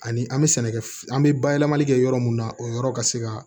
Ani an bɛ sɛnɛkɛ an bɛ bayɛlɛmali kɛ yɔrɔ mun na o yɔrɔ ka se ka